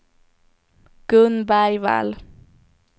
Gun Bergvall